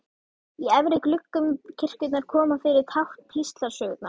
Í efri gluggum kirkjunnar koma fyrir tákn píslarsögunnar.